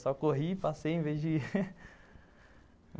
Só corri e passei em vez de ir.